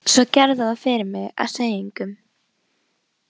Svo gerðu það fyrir mig að segja engum.